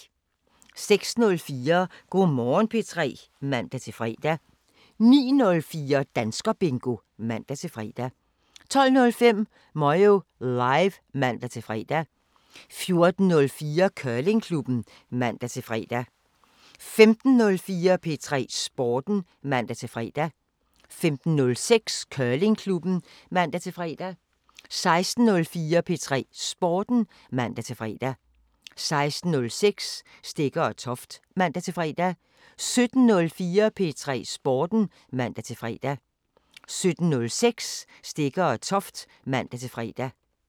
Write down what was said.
06:04: Go' Morgen P3 (man-fre) 09:04: Danskerbingo (man-fre) 12:05: Moyo Live (man-fre) 14:04: Curlingklubben (man-fre) 15:04: P3 Sporten (man-fre) 15:06: Curlingklubben (man-fre) 16:04: P3 Sporten (man-fre) 16:06: Stegger & Toft (man-fre) 17:04: P3 Sporten (man-fre) 17:06: Stegger & Toft (man-fre)